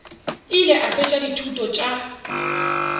ile a fetša dithuto tša